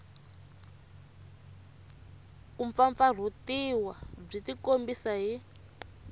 ku mpfampfarhutiwa byi tikombisa hi